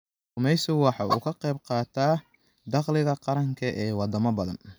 Kalluumaysigu waxa uu ka qayb qaataa dakhliga qaranka ee wadamo badan.